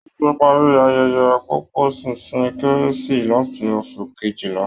Wọ́n ti parí ayẹyẹ pọ̀pọ̀ṣìnṣìn kérésì láti oṣù kejìlá